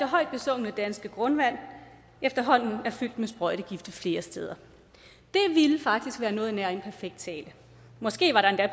højt besungne danske grundvand efterhånden er fyldt med sprøjtegifte flere steder det ville faktisk være noget nær en perfekt tale måske var der endda